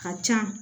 A ka can